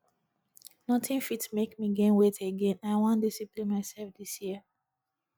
nothing fit make me gain weight again i wan discipline myself dis year